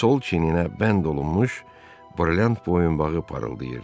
Sol çiyninə bənd olunmuş brilliant boyunbağı parıldayırdı.